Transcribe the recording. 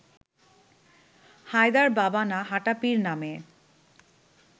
হায়দার বাবা বা হাঁটা পীর নামে